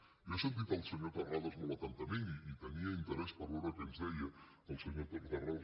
jo he sentit el senyor terrades molt atentament i tenia in·terès per veure què ens deia el senyor terrades